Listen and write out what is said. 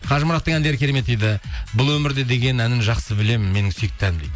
қажымұраттың әндері керемет дейді бұл өмірде деген әнін жақсы білемін менің сүйікті әнім дейді